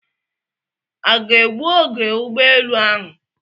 A ga-egbu oge ụgbọelu ahụ?